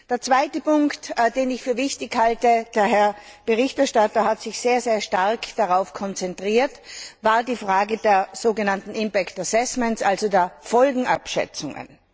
Der zweite Punkt, den ich für wichtig halte der Berichterstatter hat sich sehr stark darauf konzentriert war die Frage der sogenannten impact assessments also der Folgenabschätzungen.